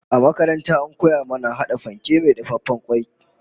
A makaranta an koya mana hada fanke mai dafaffen kwai